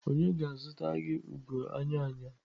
Onye ga-azụta gị ugo anya anya.